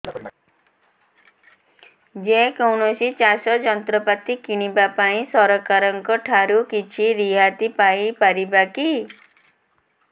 ଯେ କୌଣସି ଚାଷ ଯନ୍ତ୍ରପାତି କିଣିବା ପାଇଁ ସରକାରଙ୍କ ଠାରୁ କିଛି ରିହାତି ପାଇ ପାରିବା କି